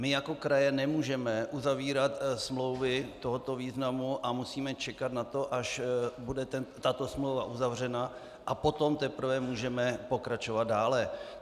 My jako kraje nemůžeme uzavírat smlouvy tohoto významu a musíme čekat na to, až bude tato smlouva uzavřena, a potom teprve můžeme pokračovat dále.